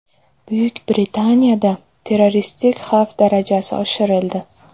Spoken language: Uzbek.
Buyuk Britaniyada terroristik xavf darajasi oshirildi.